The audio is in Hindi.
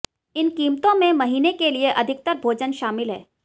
इन कीमतों में महीने के लिए अधिकतर भोजन शामिल हैं